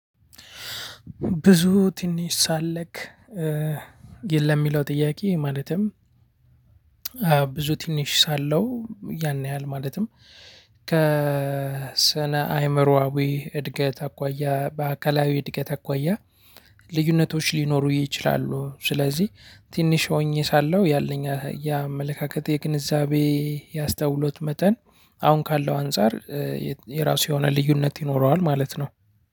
ብዙ ትንሽ ሳለክ የ ለሚለው ጥያቄ ማለትም ብዙ ትንሽ ሳለው ያን ያህል ማለትም ከ ስነ አይምሮአዊ እድገት አኳያ በአካላዊ እድገት አኳያ ልዩነቶች ሊኖሩ ይችላሉ። ስለዚህ ትንሽ ሆኜ ሳለሁ ያለኝ የአመለካከት የግንዛቤ ያስተውሎት መጠን አሁን ካለው አንፃር የራሱ የሆነ ልዩነት ይኖረዋል ማለት። ነው።